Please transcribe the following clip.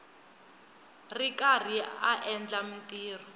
ri karhi a endla mintirho